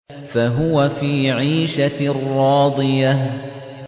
فَهُوَ فِي عِيشَةٍ رَّاضِيَةٍ